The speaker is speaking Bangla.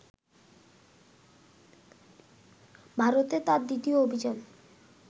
ভারতে তাঁর দ্বিতীয় অভিযান